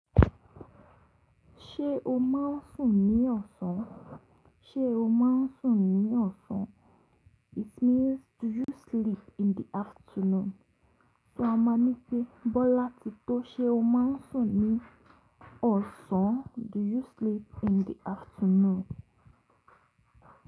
Ṣé o máa ń sùn ní ọ̀sán? Ṣé o máa ń sùn ní ọ̀sán? It means do you sleep in the afternoon? So a máa ní pé Bọ́lá ti tó. Ṣé o máa ń sùn ní ọ̀sán? Do you sleep in the afternoon?